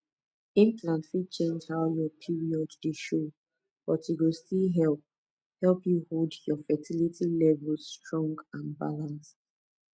implant fit change how your period dey show but e go still help help you hold your fertility levels strong and balanced